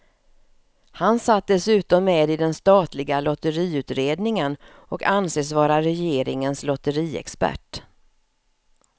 Han satt dessutom med i den statliga lotteriutredningen och anses vara regeringens lotteriexpert.